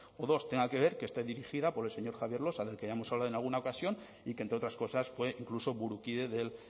o dos tenga que ver que esté dirigida por el señor javier losa del que ya hemos hablado en alguna ocasión y que entre otras cosas fue incluso burukide del